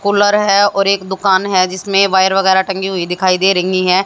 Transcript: Cooler है और एक दुकान है जिसमें वायर वगैरा टंकी हुई दिखाई दे रहीं हैं।